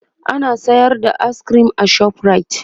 ana sayar da ayis kirim a shoprite